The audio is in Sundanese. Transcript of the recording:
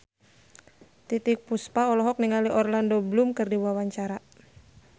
Titiek Puspa olohok ningali Orlando Bloom keur diwawancara